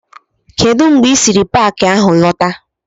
Kedụ mgbe ị sịrị n'Paakị ahụ lọta?